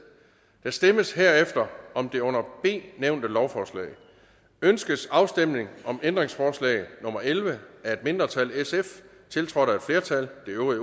der stemmes herefter om det under b nævnte lovforslag ønskes afstemning om ændringsforslag nummer elleve af et mindretal tiltrådt af et flertal